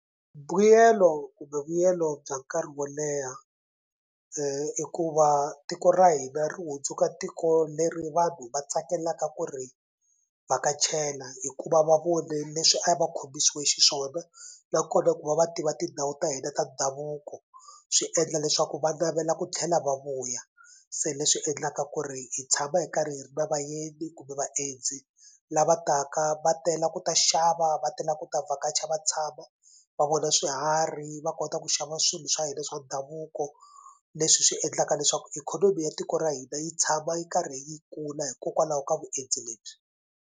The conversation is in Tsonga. Mbuyelo kumbe vuyelo bya nkarhi wo leha i ku va tiko ra hina ri hundzuka tiko leri vanhu va tsakelaka ku ri vhakachela hikuva va vone leswi a va khomisiwe xiswona na kona ku va va tiva tindhawu ta hina ta ndhavuko swi endla leswaku va navela ku tlhela va vuya se leswi endlaka ku ri hi tshama hi karhi hi ri na vayeni kumbe vaendzi lava taka va tela ku ta xava va tela ku ta vhakacha va tshama va vona swiharhi va kota ku xava swilo swa hina swa ndhavuko leswi swi endlaka leswaku ikhonomi ya tiko ra hina yi tshama yi karhi yi kula hikokwalaho ka vuendzi lebyi.